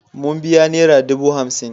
Mun biya nera dubu hamsin.